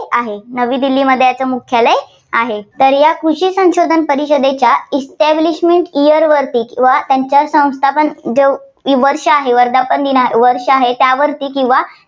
आहे. नवी दिल्लीमध्ये याचं मुख्यालय आहे. तर या कृषी संशोधन परिषदेच्या establishment year वरती, या त्यांच्या संस्थापन जो वर्ष आहे, वर्धपान दिन वर्ष आहे त्यावरती किंवा